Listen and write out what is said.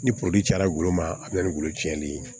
Ni cayara golo ma a bɛ ni golo ciɲɛnni ye